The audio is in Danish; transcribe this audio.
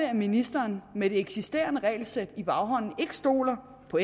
at ministeren med det eksisterende regelsæt i baghånden ikke stoler på